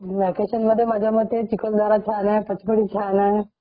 Vacation मध्ये माझा मते चिकीखालधारा छान आहे पचमडी छान आहे .